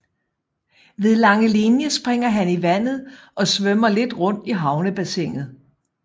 Ved Langelinie springer han i vandet og svømmer lidt rundt i havnebassinet